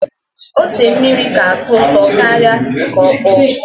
Ose mmiri ka atọ ụtọ karịa nke ọkpọ.